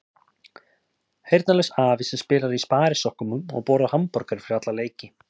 Heyrnarlaus afi sem spilar í sparisokkum og borðar hamborgara fyrir alla leiki.